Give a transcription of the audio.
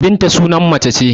Binta suna mace ce.